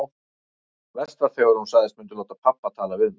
Verst var þegar hún sagðist myndu láta pabba tala við mig.